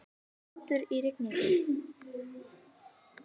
Grátur í rigningu.